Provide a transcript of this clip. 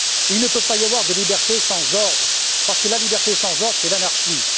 Il ne peut pas y avoir de liberté sans ordre parce que la liberté sans ordre, c'est l'anarchie.